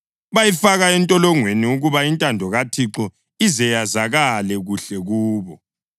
Bayifaka entolongweni ukuba intando kaThixo ize yazakale kuhle kubo.